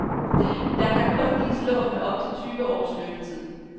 Der kun gives lån med op til tyve års løbetid.